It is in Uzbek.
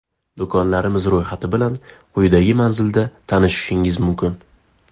Do‘konlarimiz ro‘yxati bilan quyidagi manzilda tanishishingiz mumkin.